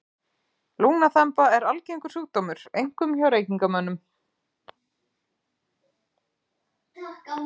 Lungnaþemba er algengur sjúkdómur, einkum hjá reykingamönnum.